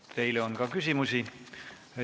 Teile on ka küsimusi.